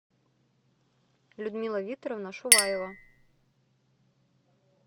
людмила викторовна шуваева